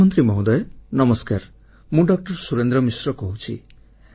ପ୍ରଧାନମନ୍ତ୍ରୀ ମହୋଦୟ ନମସ୍କାର ମୁଁ ଡା ସୁରେନ୍ଦ୍ର ମିଶ୍ର କହୁଛି